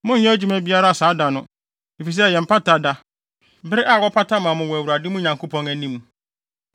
Monnyɛ adwuma biara saa da no, efisɛ ɛyɛ Mpata Da, bere a wɔpata ma mo wɔ Awurade mo Nyankopɔn anim.